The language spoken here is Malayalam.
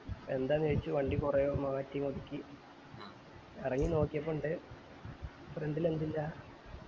എന്താന്ന് ചോയ്ച്ചു വണ്ടി കൊറേ മാറ്റി ഒതുക്കി ഇറങ്ങി നോക്കിയപ്പോ ഇണ്ട് front ല് എന്തില്ല?